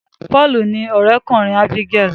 Paul ní òré kùnrin Abigael.